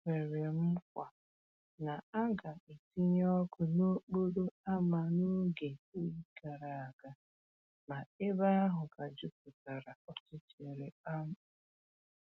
E kwèrè mkwa na a ga‑etinye ọkụ n’ókporo ámá n’oge oyi gara aga, ma ebe ahụ ka jupụtara ọchịchịrị kpamkpam